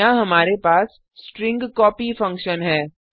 यहाँ हमारे पास स्ट्रिंग कॉपी फंकशन है